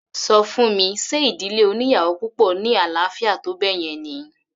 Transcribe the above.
Ṣọ fún mi ṣe ìdílé oníyàwò púpọ̀ ní àlàáfíà tó báyẹn ni?